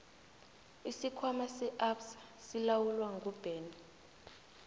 isikhwama se absa silawulwa nguben